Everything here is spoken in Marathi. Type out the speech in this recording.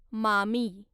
मामी